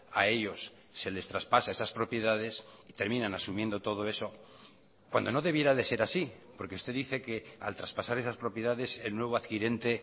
a ellos se les traspasa esas propiedades y terminan asumiendo todo eso cuando no debiera de ser así porque usted dice que al traspasar esas propiedades el nuevo adquirente